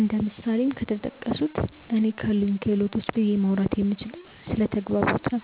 እንደ ምሳሌም ከተጠቀሱት እኔ ካሉኝ ክህሎቶች ብዬ ማውራት የምችለው ስለ ተግባቦት ነው።